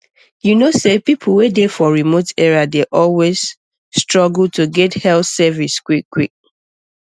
you know say people wey dey for remote area dey always struggle to get health service quickquick